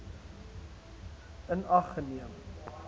in ag geneem